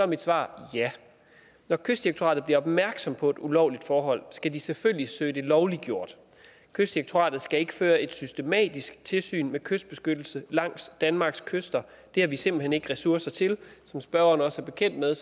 mit svar ja når kystdirektoratet bliver opmærksom på et ulovligt forhold skal de selvfølgelig søge det lovliggjort kystdirektoratet skal ikke føre et systematisk tilsyn med kystbeskyttelsen langs danmarks kyster det har vi simpelt hen ikke ressourcer til som spørgeren også er bekendt med